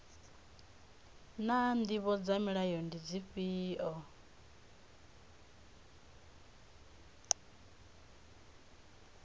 naa ndivho dza mulayo ndi dzifhio